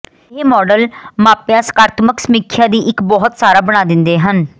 ਇਹ ਮਾਡਲ ਮਾਪੇ ਸਕਾਰਾਤਮਕ ਸਮੀਖਿਆ ਦੀ ਇੱਕ ਬਹੁਤ ਸਾਰਾ ਬਣਾ ਦਿੰਦਾ ਹੈ